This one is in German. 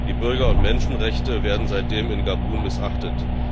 Die Bürger und Menschenrechte werden seitdem in Gabun missachtet.